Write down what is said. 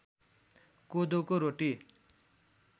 कोदोको रोटी